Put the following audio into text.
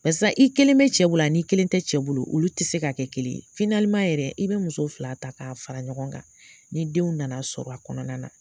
Barisa i kelen be cɛ bolo an'i kelen te cɛ bolo olu te se ka kɛ kelen ye finaliman yɛrɛ i be muso fila ta k'a fara ɲɔgɔn kan ni denw nana sɔrɔ a kɔnɔna na